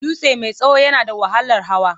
Dutse mai tsawo yana da wahalar hawa.